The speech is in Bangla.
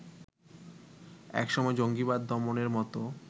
একসময় জঙ্গিবাদ দমনের মত